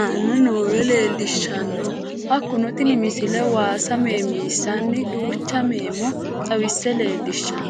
aane noore leelishano. Hakunno tinni misile waasa meemisinanni duucha meemo xawisse leelishshanno.